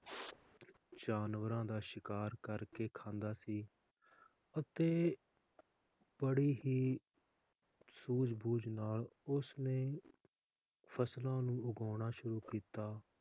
ਜਾਨਵਰਾਂ ਦਾ ਸ਼ਿਕਾਰ ਕਰਕੇ ਖਾਂਦਾ ਸੀ ਅਤੇ ਬੜੀ ਹੀ ਸੂਝ ਬੂਝ ਨਾਲ ਉਸ ਨੇ ਫਸਲਾਂ ਨੂੰ ਉਗਾਉਣਾ ਸ਼ੁਰੂ ਕੀਤਾ